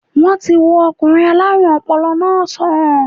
Wọ́n ti wo okùnrin aláàrùn ọpọlọ náà sàn